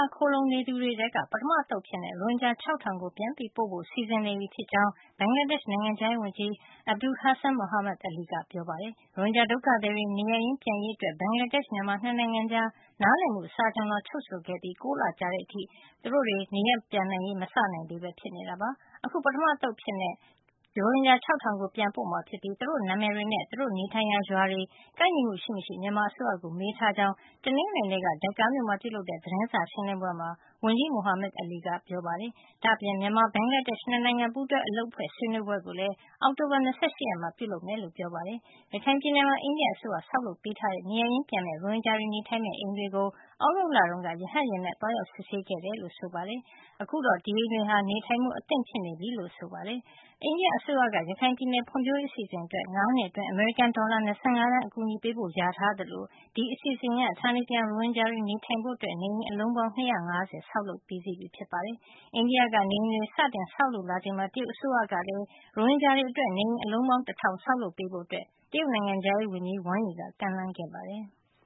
ာ ခိုလှုံနေသူတွေထဲက ပထမအသုတ်အဖြစ် ရိုဟင်ဂျာ ၆၀၀၀ ကို ပြန်ပို့ဖို့ စီစဉ်နေပြီဖြစ်ကြောင်း ဘင်္ဂလားဒေ့ရှ် နိုင်ငံခြားရေးဝန်ကြီး Abul Hassan Mahmood Ali က ပြောပါတယ်။ ရိုဟင်ဂျာဒုက္ခသည်တွေ နေရပ်ရင်း ပြန်ရေးအတွက် ဘင်္ဂလားဒေ့ရှ်နဲ့ မြန်မာ ၂ နိုင်ငံကြား နားလည်မှုစာချွန်လွှာ ချုပ်ဆိုခဲ့ပြီး ၉ လကြာတဲ့အထိ ရိုဟင်ဂျာတွေ နေရပ်ပြန်ရေးကို မစနိုင်သေးပဲ ဖြစ်နေတာပါ။ အခု ပထမအသုတ်အဖြစ် ရိုဟင်ဂျာ ၆၀၀၀ ကို ပြန်ပို့မှာ ဖြစ်ပြီး သူတို့နာမည်တွေနဲ့ သူတို့နေထိုင်ရာရွာတွေ ကိုက်ညီမှု ရှိမရှိ မြန်မာအစိုးရကို မေးထားကြောင်း တနင်္ဂနွေနေ့က Dhaka မြို့မှာ ပြုလုပ်တဲ့ သတင်းစာရှင်းလင်းပွဲမှာ ဝန်ကြီး Mahmood Ali က နိုင်ငံခြားသတင်းထောက်တွေကို ပြောပါတယ်။ ဒါ့အပြင် မြန်မာ- ဘင်္ဂလာဒေ့ရှ် ၂ နိုင်ငံပူးတွဲ အလုပ်အဖွဲ့ ဆွေးနွေးပွဲကိုလည်း အောက်တိုဘာလ ၂၈ ရက်နေ့မှာ ပြုလုပ်မယ်လို့ ပြောပါတယ်။ ရခိုင်ပြည်နယ်မှာ အိန္ဒိယအစိုးရ ဆောက်လုပ်ပေးထားတဲ့ နေရပ်ရင်းပြန်မယ့် ရိုဟင်ဂျာတွေနေထိုင်မယ့် အိမ်တွေကို သြဂုတ်လတုန်းက ရဟတ်ယာဉ်နဲ့ သွားရောက်စစ်ဆေးခဲ့တယ်လို့ပြောပါတယ်။ ဒါ့အပြင် အခုဆို ဒီအိမ်တွေဟာ နေထိုင်ဖို့ အဆင်သင့်ဖြစ်နေပြီ လို့လည်းပြောပါတယ်။ အိန္ဒိယအစိုးရက ရခိုင်ပြည်နယ် ဖွံ့ဖြိုးရေးအစီအစဉ်အတွက် ၅ နှစ်အတွင်း အမေရိကန်ဒေါ်လာ ၂၅ သန်း အကူညီပေးဖို့လျာထား သလို ဒီအစီအစဉ်အရ ဌာနေပြန် ရိုဟင်ဂျာတွေ နေထိုင်ဖို့ နေအိမ် အလုံးပေါင်း ၂၅၀ ဆောက်လုပ်ပြီးစီးပြီဖြစ်ပါတယ်။ အိန္ဒိယက နေအိမ်တွေ စတင်ဆောက်လုပ်လာချိန်မှာ တရုတ်အစိုးရကလည်း ရိုဟင်ဂျာတွေ အတွက် နေအိမ် အလုံးပေါင်း တထောင် ဆောက်လုပ်ပေးဖို့ တရုတ်နိုင်ငံခြားရေးဝန်ကြီး Wang Yi က ကမ်းလှမ်းခဲ့ပါတယ်။